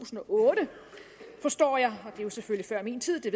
og otte forstår jeg og det er selvfølgelig før min tid det